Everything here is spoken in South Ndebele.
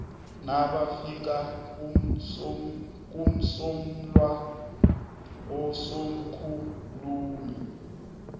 nabafika kumsolwa usomkhulumi